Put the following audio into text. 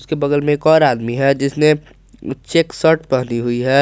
बगल में एक और आदमी है जिसने चेक शर्ट पहनी हुई है।